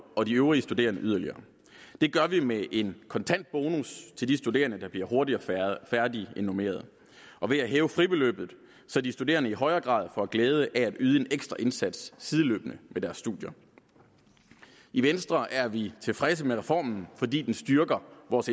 og de øvrige studerende yderligere det gør vi med en kontant bonus til de studerende der bliver hurtigere færdig end normeret og ved at hæve fribeløbet så de studerende i højere grad får glæde af at yde en ekstra indsats sideløbende med deres studier i venstre er vi tilfredse med reformen fordi den styrker vores